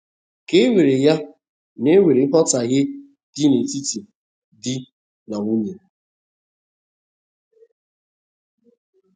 Ka e were ya na enwere nghọtaghe di na etiti di na nwunye.